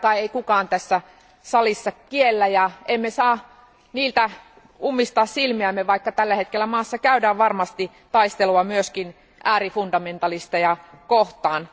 Sitä kai ei kukaan tässä salissa kiellä, ja emme saa ummistaa niiltä silmiämme, vaikka tällä hetkellä maassa käydään varmasti taistelua myöskin äärifundamentalisteja kohtaan.